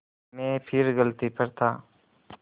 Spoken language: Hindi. मैं फिर गलती पर था